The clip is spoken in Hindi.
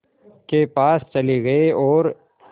के पास चले गए और